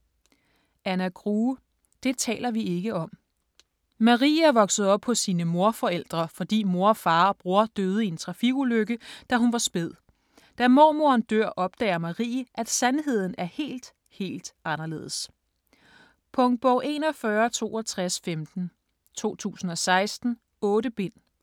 Grue, Anna: Det taler vi ikke om Marie er vokset op hos sine morforældre, fordi mor, far og bror døde i en trafikulykke, da hun var spæd. Da mormoren dør opdager Marie, at sandheden er helt, helt anderledes. Punktbog 416215 2016. 8 bind.